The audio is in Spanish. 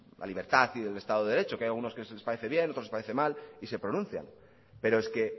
la libertad y el estado de derecho que hay algunos que sí les parece bien otros les parece mal y se pronuncian pero es que